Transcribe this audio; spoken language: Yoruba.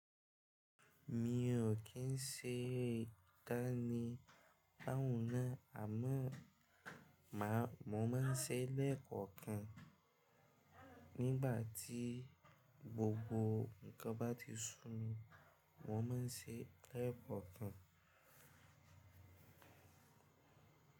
Mi ò kí ń ṣe ìdánimọ̀ ní àwùn náà, àmọ́ màá, mo máa ń ṣe lẹ́ẹ̀kọ̀kan nígbà tí gbogbo nǹkan bá ti sú mi. Mo máa ń ṣe lẹ́ẹ̀kọ̀kan.